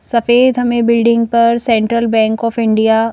सफ़ेद हमें बिल्डिंग पर सेंट्रल बैंक ऑफ इंडिया --